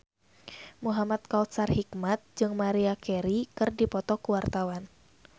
Muhamad Kautsar Hikmat jeung Maria Carey keur dipoto ku wartawan